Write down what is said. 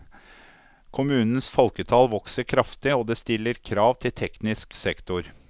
Kommunens folketall vokser kraftig og det stiller krav til teknisk sektor.